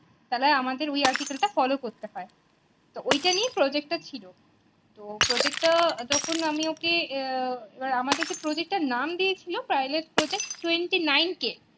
তা হলে আমাদের ওই article টা follow করতে হয় তো ওইটা নিয়ে project টা ছিল তো project টা যখন আমি ওকে আহ আমাদের যে project টার নাম দিয়ে ছিল Pilot project twenty nine k